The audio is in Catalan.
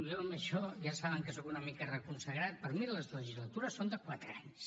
jo en això ja saben que soc una mica reconsagrat per mi les legislatures són de quatre anys